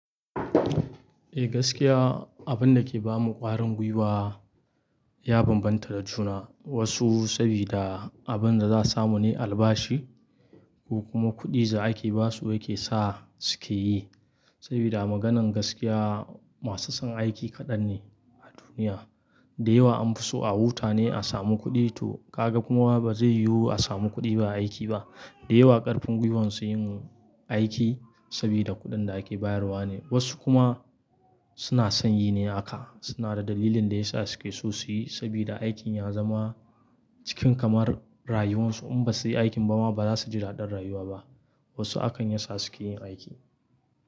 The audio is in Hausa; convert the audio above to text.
Eh gaskiya abinda ke bamu ƙwarin gwiwa ya bambanta da juna. Wasu sabida abinda za a samu ne albashi, ko kuma kuɗi da aike basu yake sa suke yi. Sabida a maganan gaskiya masu son aiki kaɗan ne a duniya. Da yawa an fi so a wuta ne a samu kuɗi to ka ga kuma bazai yiwu a samu kuɗi ba aiki ba. Da yawa ƙarfin gwiwon su yin aiki sabida kuɗin da aike bayarwa ne. Wasu kuma suna son yi ne aka, suna da dalilin da yasa suke so suyi sabida aikin ya zama cikin kamar rayuwan su in basu yi aikin ba ma baza su ji daɗin rayuwa ba. Wasu hakan ya sa suke yin aiki.